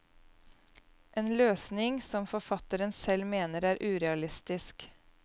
En løsning som forfatteren selv mener er urealistisk.